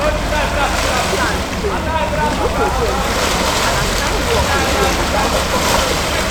when plans change we group again quick quick and assign work again without confusion.